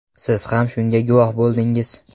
Siz ham shunga guvoh bo‘ldingiz.